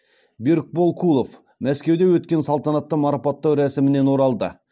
берікбол кулов мәскеуде өткен салтанатты марапаттау рәсімінен оралды